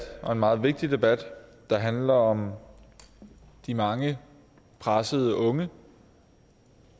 og en meget vigtig debat der handler om de mange pressede unge